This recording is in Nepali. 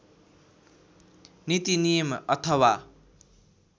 नीति नियम अथवा